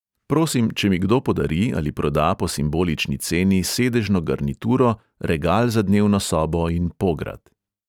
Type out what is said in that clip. Prosim, če mi kdo podari ali proda po simbolični ceni sedežno garnituro, regal za dnevno sobo in pograd.